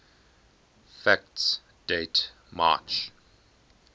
facts date march